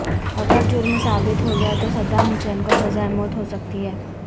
اگر جرم ثابت ہو گیا تو صدام حسین کو سزائے موت ہو سکتی ہے